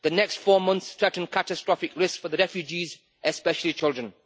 The next four months threaten catastrophic risk for the refugees, especially children.